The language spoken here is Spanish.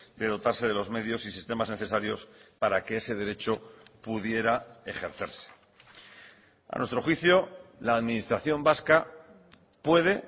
de dotarse de los medios y sistemas necesarios para que ese derecho pudiera ejercerse a nuestro juicio la administración vasca puede